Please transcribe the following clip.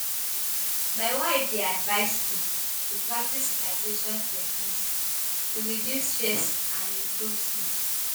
My wife dey advise me to practice relaxation techniques to reduce stress and improve sleep.